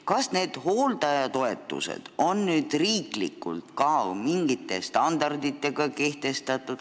Kas hooldajatoetustele kehtivad ka mingid riiklikud standardid?